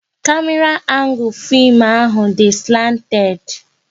Kamera angul fim ahụ dị slanted